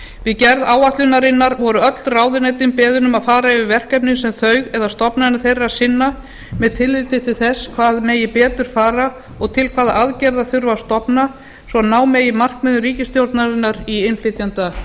við gerð áætlunarinnar voru öll ráðuneytin beðin um að fara yfir verkefni sem þau eða stofnanir þeirra sinna með tilliti til þess hvað megi betur fara og til hvaða aðgerða þurfi að stofna svo ná megi markmiðum ríkisstjórnarinnar í